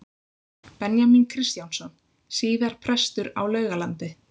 Benjamín Kristjánsson, síðar prestur á Laugalandi.